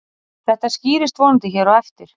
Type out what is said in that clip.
Þetta skýrist vonandi hér á eftir.